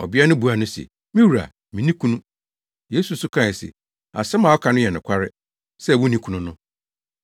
Ɔbea no buaa no se, “Me wura, minni kunu.” Yesu nso kae se, “Asɛm a woaka no yɛ nokware, sɛ wunni kunu no.